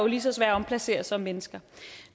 lige så svære at omplacere som mennesker